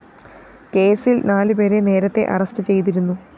കേസില്‍ നാലു പേരെ നേരത്തെ അറസ്റ്റ്‌ ചെയ്തിരുന്നു